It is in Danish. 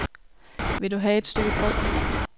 Vil du have et stykke brød?